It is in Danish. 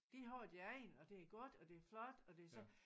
De har deres egen og det er godt og det er flot og det så